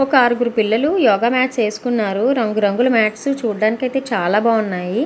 ఒక అరుగురు పిల్లలు యోగ మాట్స్ వేసుకున్నారు రంగు రంగుల మాట్స్ చుడానికి అయితే చాలా బాగున్నాయి.